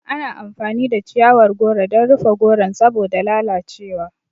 Ana amfani da chiyawar goro dan rufe goron saboda lalace wa